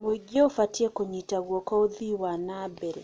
Mũingĩ ũbatiĩ kũnyita guoko ũthii wa na mbere.